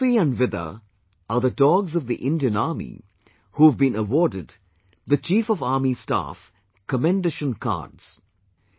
Sophie and Vida are the dogs of the Indian Army who have been awarded the Chief of Army Staff 'Commendation Cards'